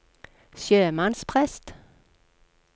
sjømannsprest